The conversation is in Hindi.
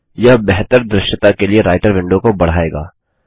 यह बेहतर दृश्यता के लिए राईटर विंडो को बढ़ाएगा